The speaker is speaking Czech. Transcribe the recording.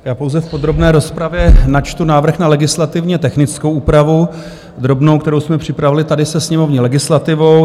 Já pouze v podrobné rozpravě načtu návrh na legislativně technickou úpravu, drobnou, kterou jsme připravili tady se sněmovní legislativou.